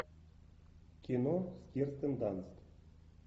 кино с кирстен данст